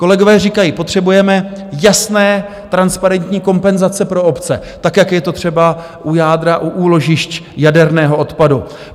Kolegové říkají, potřebujeme jasné, transparentní kompenzace pro obce, tak jak je to třeba u jádra, u úložišť jaderného odpadu.